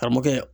Karamɔgɔkɛ